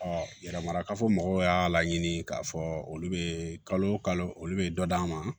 yɛrɛmarakafo mɔgɔw y'a laɲini k'a fɔ olu bɛ kalo kalo olu bɛ dɔ d'a ma